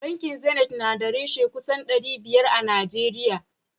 Bankin zenit na da reshe kusan dari biyar a najeriya